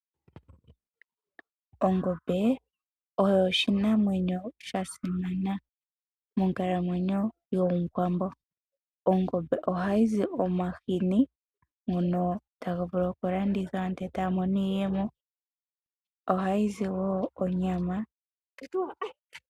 Ongombe oyo oshinamwenyo sha simana monkalamweyo yOmuwambo. Ongombe ohayi zi omahini ngono haga vulu okulandithwa ndele aantu taya mono iiyemo. Ohayi zi wo onyama.